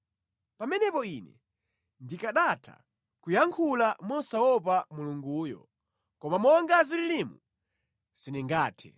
Pamenepo ine ndikanatha kuyankhula mosamuopa Mulunguyo, koma monga zililimu, sindingathe.